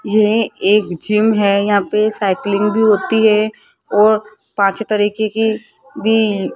ये एक जिम है यहां पे साइकलिंग भी होती है और पांच तरीके की--